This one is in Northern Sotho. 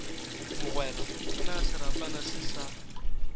mogwera na serapana se sa